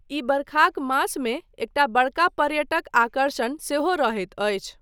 ई बरखाक मासमे एकटा बड़का पर्यटक आकर्षण सेहो रहैत अछि।